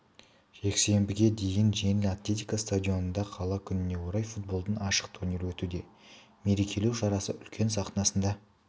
жексенбіге дейін жеңіл атлетика стадионында қала күніне орай футболдан ашық турнир өтуде мерекелеу шарасы үлкен сахнасында